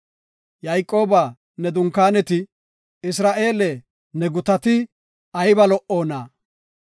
Yayqooba, ne dunkaaneti, Isra7eele, ne gutati, ayba lo77oona.